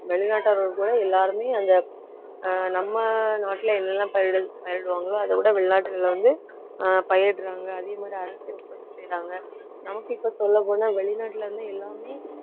வெளிநாட்டவர்கள் கூட எல்லாருமே அந்த அஹ் நம்ம நாட்டில என்னெல்லாம் பயிரிட~ பயிரிடுவாங்களோ அதைவிட வெளிநாட்டில வந்து ஆஹ் பயிரிடறாங்க அதே மாதிரி அரிசி உற்பத்தி செய்யறாங்க நமக்கு இப்ப சொல்லப்போனா வெளிநாட்டில இருந்து எல்லாமே